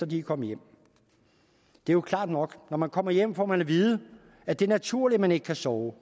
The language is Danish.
de er kommet hjem det er jo klart nok når man kommer hjem får man at vide at det er naturligt at man ikke kan sove